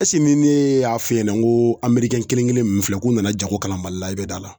ne y'a f'i ɲɛna n ko ame kelen kelen ninnu filɛ k'u nana jago kɛla mali la i bɛ da la